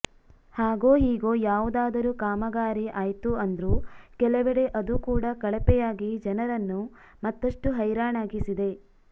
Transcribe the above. ಹಾಗೋ ಹೀಗೋ ಯಾವುದಾದರೂ ಕಾಮಗಾರಿ ಆಯ್ತು ಅಂದ್ರು ಕೆಲವೆಡೆ ಅದು ಕೂಡ ಕಳಪೆಯಾಗಿ ಜನರನ್ನು ಮತ್ತಷ್ಟು ಹೈರಾಣಾಗಿಸಿದೆ